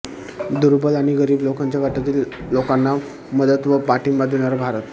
दुर्बल आणि गरीब लोकांच्या गटातील लोकांना मदत व पाठिंबा देणारा भारत